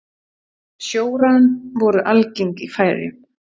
sjórán voru algeng í færeyjum